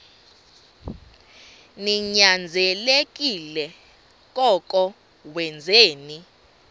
ninyanzelekile koko wenzeni